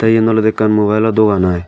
ty yen olode ekkan mubile o dogan i.